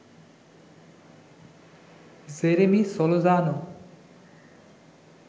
Jeremy Solozano